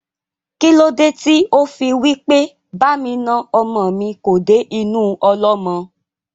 Kílódé tí ó fí wí pé "Ba mi na ọmọ mi kò dé inú ọlọ́mọ?"